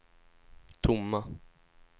tomma